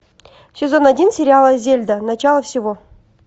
сезон один сериала зельда начало всего